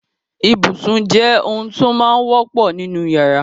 Ibùsùn jẹ́ ohun tó máa wọ́pọ̀ nínú ìyàrá.